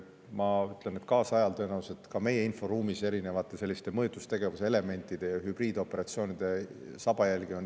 Ma ütlen, et kaasajal on tõenäoliselt ka meie inforuumis ikka väga tihti näha selliste erinevate mõjutustegevuse elementide ja hübriidoperatsioonide sabajälgi.